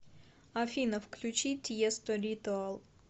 афина включи тиесто ритуал